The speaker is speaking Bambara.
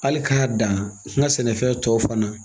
Hali k'a dan n ka sɛnɛfɛn tɔw fana